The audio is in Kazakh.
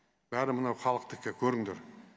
бәрі мына халықтікі көріңдер